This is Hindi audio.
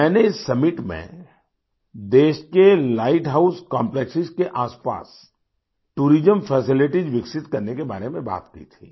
मैंने इस सम्मित में देश के लाइट हाउस कॉम्प्लेक्स के आसपास टूरिज्म फैसिलिटीज विकसित करने के बारे में बात की थी